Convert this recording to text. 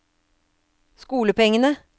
skolepengene